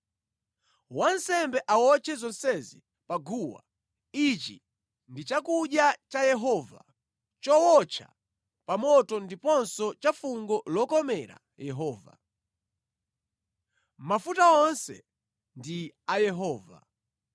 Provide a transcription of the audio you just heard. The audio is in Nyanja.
Wansembe awotche zonsezi pa guwa. Ichi ndi chakudya cha Yehova, chowotcha pa moto ndiponso cha fungo lokomera Yehova. Mafuta onse ndi a Yehova.